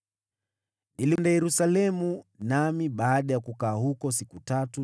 Nilienda Yerusalemu, na baada ya kukaa huko siku tatu,